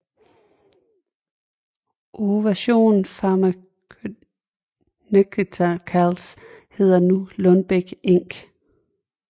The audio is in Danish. Ovation Pharmaceuticals hedder nu Lundbeck Inc